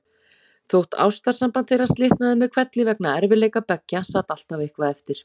Þótt ástarsamband þeirra slitnaði með hvelli vegna erfiðleika beggja sat alltaf eitthvað eftir.